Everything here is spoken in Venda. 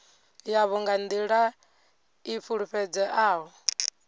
yavho nga nḓila i fulufhedzeaho